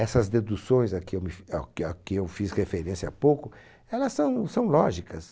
Essas deduções a que eu me fi ó que a que eu fiz referência há pouco, elas são são lógicas.